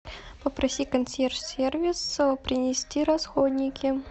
попроси консьерж сервис принести расходники